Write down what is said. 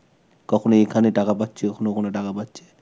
কখনো এখানে টাকা পাচ্ছে, কখনো ওখানে টাকা পাচ্ছে.